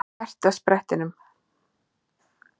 Herti á sprettinum.